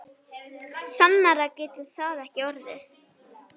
Sannara getur það ekki orðið.